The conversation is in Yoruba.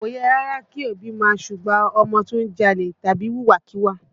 Kò yẹ rárá kí òbí ó máa súgbà ọmọ tó ń jalè tàbí wùwà kíwà